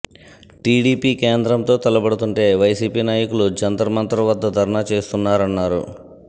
TDP కేంద్రంతో తలపడుతుంటే YCP నాయకులు జంతర్మంతర్ వద్ద ధర్నా చేస్తున్నారన్నారు